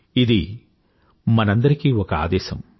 ఇది మనందరికీ ఒక ఆదేశం